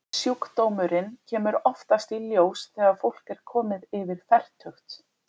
Sjúkdómurinn kemur oftast í ljós þegar fólk er komið yfir fertugt.